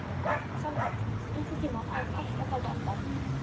Salmar, einhvern tímann þarf allt að taka enda.